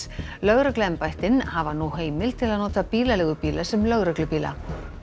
lögregluembættin hafa nú heimild til að nota bílaleigubíla sem lögreglubíla